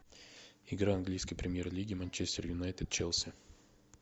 игра английской премьер лиги манчестер юнайтед челси